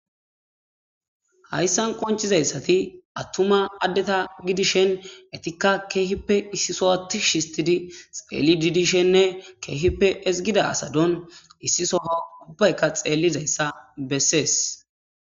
hayssan qoncizayssati attuma addeta gidishen etikka keehippe issi sowa tish histidi xeellidi dishenne keehippe ezgida asaton issi soho ubbayka xeellizayssa bessees